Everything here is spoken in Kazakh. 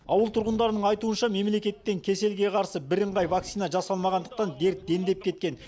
ауыл тұрғындарының айтуынша мемлекеттен кеселге қарсы бірыңғай вакцина жасалмағандықтан дерт дендеп кеткен